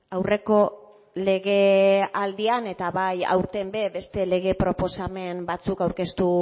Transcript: aurreko legealdian eta bai aurten ere beste lege proposamen batzuk aurkeztu